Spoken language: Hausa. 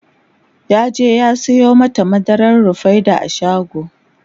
yaje ya Sayo mata madarar rufaida a shago